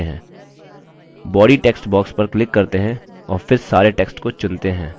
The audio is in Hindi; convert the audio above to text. body text box पर click करते हैं और फिर सारे text को चुनते हैं